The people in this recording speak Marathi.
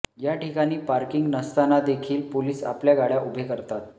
या ठिकाणी पार्किंग नसतानादेखील पोलीस आपल्या गाड्या उभे करतात